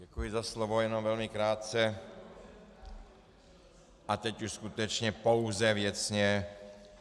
Děkuji za slovo, jen velmi krátce a teď už skutečně pouze věcně.